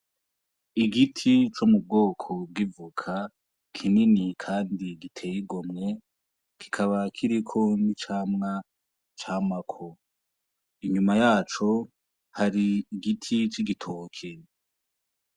Igiti co mu bwoko bwivuka kinini, kandi gitego mwe gikaba kirikon'icamwa camwako inyuma yaco hari igiti c'igitoke.